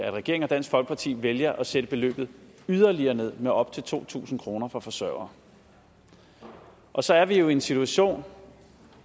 at regeringen og dansk folkeparti vælger at sætte beløbet yderligere ned med op til to tusind kroner for forsørgere og så er vi jo i en situation